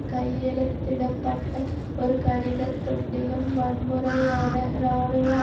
கையெழுத்திட பட்ட ஒரு கடிதத் துண்டிலும் வன்முறையான இராணுவ